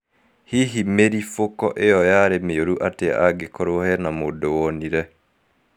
Hihi mĩribũko iyo yarĩ mĩũru atĩa angĩkorwo hena mũndũ wonire